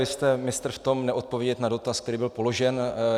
Vy jste mistr v tom neodpovědět na dotaz, který byl položen.